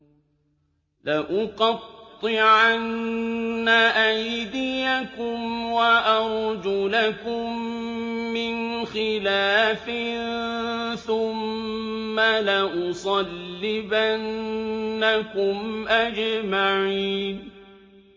لَأُقَطِّعَنَّ أَيْدِيَكُمْ وَأَرْجُلَكُم مِّنْ خِلَافٍ ثُمَّ لَأُصَلِّبَنَّكُمْ أَجْمَعِينَ